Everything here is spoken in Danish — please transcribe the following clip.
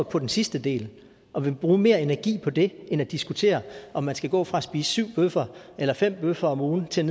på den sidste del og vil bruge mere energi på det end på at diskutere om man skal gå fra at spise syv bøffer eller fem bøffer om ugen til